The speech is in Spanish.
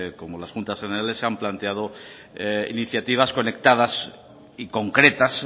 como las juntas generales se han planteado iniciativas conectadas y concretas